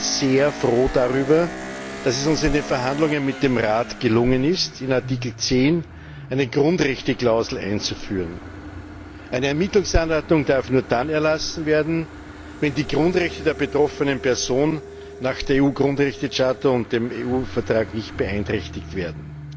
Ich bin sehr froh darüber, dass es uns in den Verhandlungen mit dem Rat gelungen ist, in Artikel10 eine Grundrechteklausel einzuführen. Eine Ermittlungsanordnung darf nur dann erlassen werden, wenn die Grundrechte der betroffenen Person nach der EU Grundrechtecharta und dem EU Vertrag nicht beeinträchtigt werden.